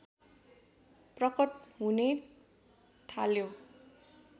प्रकट हुने थाल्यो